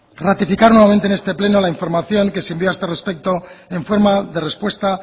ratificar nuevamente en este pleno la información que se envió a este respecto en forma de respuesta